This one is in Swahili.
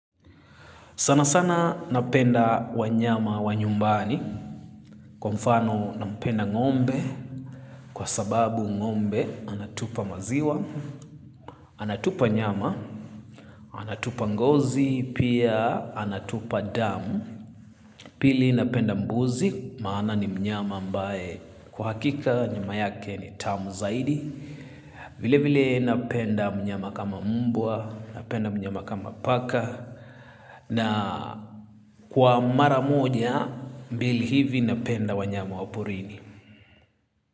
Sana sana napenda wanyama wa nyumbani kwa mfano napenda ngombe kwa sababu ngombe anatupa maziwa, anatupa nyama, anatupa ngozi, pia anatupa damu, pili napenda mbuzi maana ni mnyama ambae kwa hakika nyama yake ni tamu zaidi. Vile vile napenda mnyama kama mbwa, napenda mnyama kama paka na kwa mara moja, mbili hivi napenda wanyama wa porini.